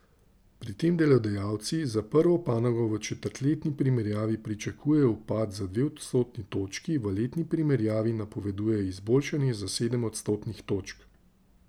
Pri tem delodajalci za prvo panogo v četrtletni primerjavi pričakujejo upad za dve odstotni točki, v letni primerjavi napovedujejo izboljšanje za sedem odstotnih točk.